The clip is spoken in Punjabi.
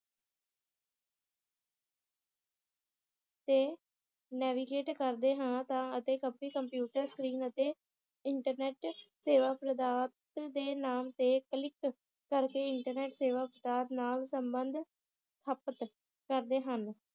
ਤੇ navigate ਕਰਦੇ ਹਾਂ ਤਾਂ ਅਤੇ computer screen ਅਤੇ ਇੰਟਰਨੇਟ ਸੇਵਾ ਪ੍ਰਦਾਤ ਦੇ ਨਾਮ ਤੇ ਕਰਕੇ ਇੰਟਰਨੇਟ ਸੇਵਾ ਪ੍ਰਦਾਤ ਨਾਲ ਸੰਬੰਧ ਹਾਪਤ ਕਰਦੇ ਹਨ